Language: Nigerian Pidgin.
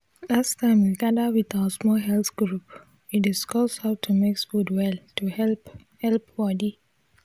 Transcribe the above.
last time we gatha wit our small health group we discuss how to mix food well to help help body